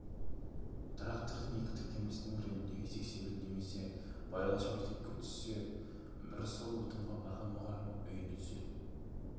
жасымыз бен жолымызға қарай сол тракторшыға кезекке тұрып үйдің қамын да қысқы жылуын да жасап алатынбыз